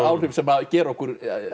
áhrif sem gera okkur